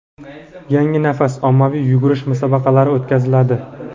"Yangi nafas" ommaviy yugurish musobaqalari o‘tkaziladi.